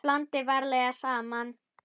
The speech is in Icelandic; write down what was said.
Blandið varlega saman.